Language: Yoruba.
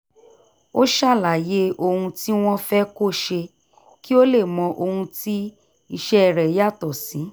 ó ṣàlàyé ohun tí wọ́n fẹ́ kó ṣe kí ó lè mọ ohun tí iṣẹ́ rẹ̀ yàtọ̀ sí